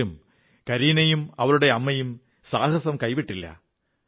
എങ്കിലും കരീനയും അവളുടെ അമ്മയും ധൈര്യം കൈവിട്ടില്ല